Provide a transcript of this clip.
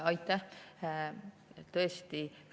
Aitäh!